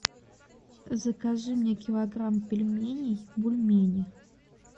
закажи мне килограмм пельменей бульмени